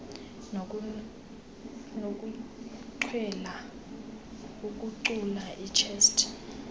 nokuchwela ukucula ichess